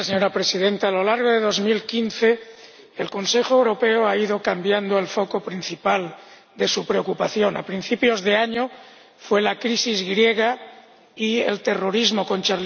Señora Presidenta, a lo largo de 2015 el Consejo Europeo ha ido cambiando el foco principal de su preocupación a principios de año, fueron la crisis griega y el terrorismo con